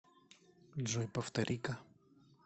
джой повтори ка